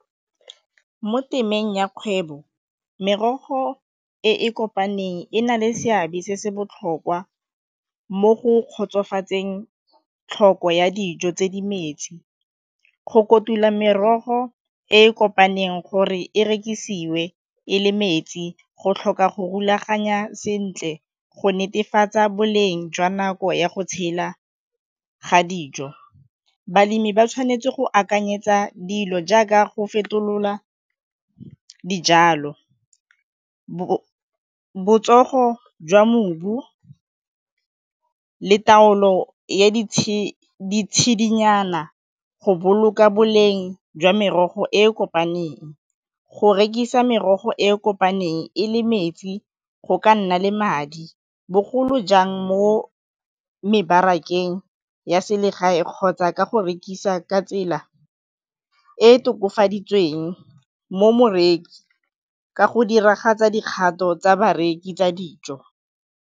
Mo temeng ya kgwebo merogo e e kopaneng e na le seabe se se botlhokwa mo go kgotsofatsang tlhoko ya dijo tse di metsi, go kotula merogo e e kopaneng gore e rekisiwe e le metsi, go tlhoka go rulaganya sentle go netefatsa boleng jwa nako ya go tshela ga dijo. Balemi ba tshwanetse go akanyetsa dilo jaaka go fetolola dijalo, botsogo jwa mobu le taolo ya ditshedinyana go boloka boleng jwa merogo e e kopaneng, go rekisa merogo e e kopaneng e le metsi go ka nna le madi, bogolo jang mo mebarakeng ya selegae kgotsa ka go rekisa ka tsela e e tokafaditsweng, mo moreki ka go diragatsa dikgato tsa bareki tsa dijo.